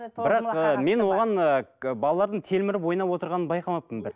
мен оған ы балалардың телміріп ойнап отырғанын байқамаппын бір